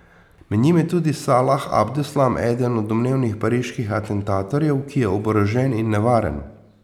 Med njimi je tudi Salah Abdeslam, eden od domnevnih pariških atentatorjev, ki je oborožen in nevaren.